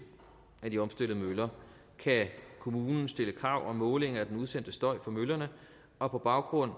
af de opstillede møller kan kommunen stille krav om måling af den udsendte støj fra møllerne og på baggrund af